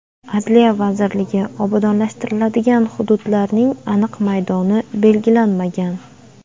Adliya vazirligi: obodonlashtiriladigan hududlarning aniq maydoni belgilanmagan.